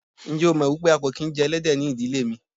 Ǹjẹ́ o mọ̀ wípé a kò kín jẹ Ẹlẹ́dẹ̀ ni ìdílé mi.